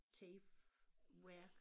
Tape værk